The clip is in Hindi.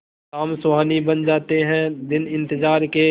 शाम सुहानी बन जाते हैं दिन इंतजार के